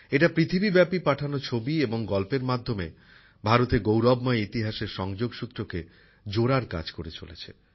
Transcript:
এটি পৃথিবীব্যাপী পাঠানো ছবি এবং গল্পের মাধ্যমে ভারতের গৌরবময় ইতিহাসের সংযোগ সূত্রকে জোড়ার কাজ করে চলেছে